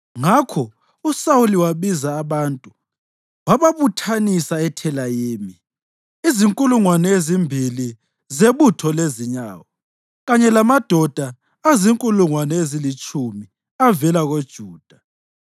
Ngakho uSawuli wabiza abantu wababuthanisa eThelayimi, izinkulungwane ezimbili zebutho lezinyawo kanye lamadoda azinkulungwane ezilitshumi avela koJuda.